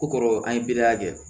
Ko kɔrɔ an ye bile kɛ